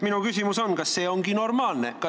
" Minu küsimus on: kas see on normaalne?